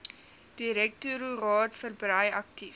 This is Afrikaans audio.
direktoraat verbrei aktief